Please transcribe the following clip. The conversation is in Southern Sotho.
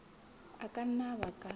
a ka nna a baka